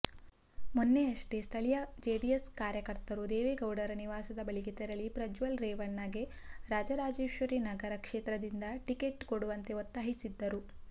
ಮೊನ್ನೆಯಷ್ಟೇ ಸ್ಥಳೀಯ ಜೆಡಿಎಸ್ ಕಾರ್ಯಕರ್ತರು ದೇವೇಗೌಡರ ನಿವಾಸದ ಬಳಿಗೆ ತೆರಳಿ ಪ್ರಜ್ವಲ್ ರೇವಣ್ಣಗೆ ರಾಜರಾಜೇಶ್ವರಿನಗರ ಕ್ಷೇತ್ರದಿಂದ ಟಿಕೆಟ್ ಕೊಡುವಂತೆ ಒತ್ತಾಯಿಸಿದ್ದರು